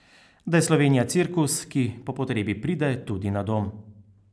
Da je Slovenija cirkus, ki po potrebi pride tudi na dom.